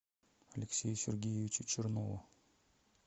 алексею сергеевичу чернову